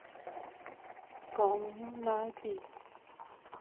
камню на оби